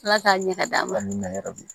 Ala k'a ɲɛ ka d'an ma yɛrɛ bi